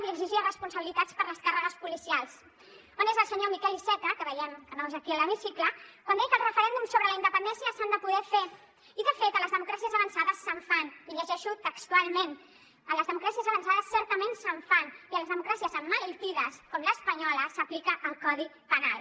i exigia responsabilitats per les càrregues policials on és el senyor miquel iceta que veiem que no és aquí a l’hemicicle que deia que el referèndum sobre la independència s’ha de poder fer i de fet a les democràcies avançades se’n fan i llegeixo textualment en les democràcies avançades certament se’n fan i a les democràcies emmalaltides com l’espanyola s’aplica el codi penal